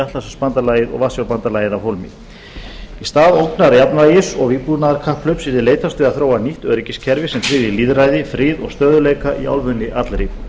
atlantshafsbandalagið og varsjárbandalagið af hólmi í stað ógnarjafnvægis og vígbúnaðarkapphlaups yrði leitast við að þróa nýtt öryggiskerfi sem tryggði lýðræði frið og stöðugleika í álfunni allri